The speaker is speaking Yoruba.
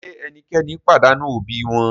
Ṣe ẹnikẹni padanu obi wọn?